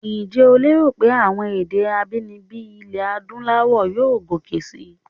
Ǹjẹ́ o lérò pé àwọn èdè abínibí ilẹ̀ Adúláwọ̀ yóò gòkè síi?